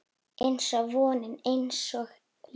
Einsog vonin, einsog lífið